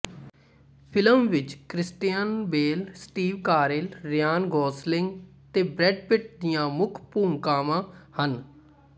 film ਵਿੱਚ Christian Bale Steve Carell Ryan Gosling ਤੇ Brad Pitt ਦੀਆਂ ਮੁੱਖ ਭੂਮਿਕਾਵਾਂ ਹਨ